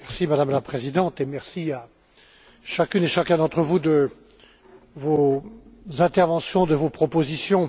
Madame la Présidente, merci à chacune et chacun d'entre vous de vos interventions, de vos propositions.